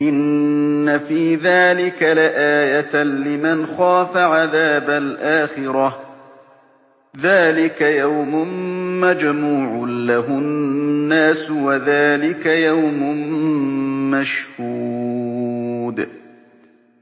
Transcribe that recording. إِنَّ فِي ذَٰلِكَ لَآيَةً لِّمَنْ خَافَ عَذَابَ الْآخِرَةِ ۚ ذَٰلِكَ يَوْمٌ مَّجْمُوعٌ لَّهُ النَّاسُ وَذَٰلِكَ يَوْمٌ مَّشْهُودٌ